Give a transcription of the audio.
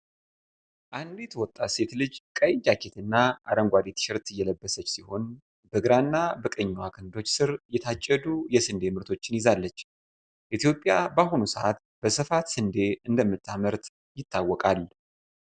አንዲት ወጣት ሴት ልጅ ቀይ ጃኬትና አረንጓዴ ቲሸርት የለበሰች ሲሆን። በግራና በቀኙዋ ክንዶች ስር የታጨዱ የስንዴ ምርቶችን ይዛለች ኢትዮጵያ በአሁኑ ሰዓት በስፋት ስንዴ እንደምታመርት ይታወቃል።